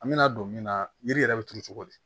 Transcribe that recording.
An bɛna don min na yiri yɛrɛ bɛ turu cogo di